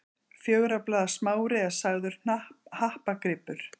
Fjögurra blaða smári er sagður happagripur.